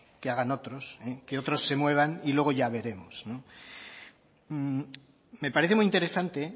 que hagan otros que otros se muevan y luego ya veremos me parece muy interesante